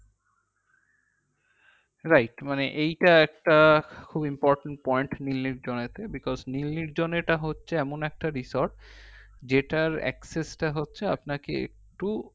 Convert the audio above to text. right মানে এইটা একটা খুব important point নীল নির্জনেতে because নীল নির্জনেটা হচ্ছে এমন একটা resort যেটার access তা হচ্ছে আপনাকে একটু